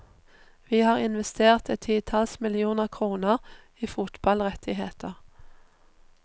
Vi har investert et titalls millioner kroner i fotballrettigheter.